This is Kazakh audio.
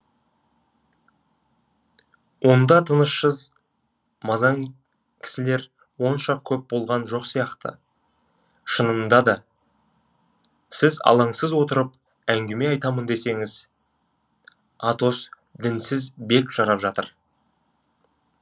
онда тынышсыз мазаң кісілер онша көп болған жоқ сияқты шынында да сіз алаңсыз отырып әңгіме айтамын десеңіз атос дінсіз бек жарап жатыр